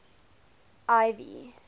ivy